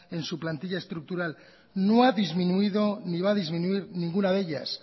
en su plantilla estructural no ha disminuido ni va a disminuir ninguna de ellas